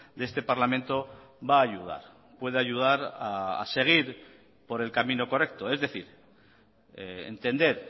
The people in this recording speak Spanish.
de este parlamento va a ayudar puede ayudar a seguir por el camino correcto es decir entender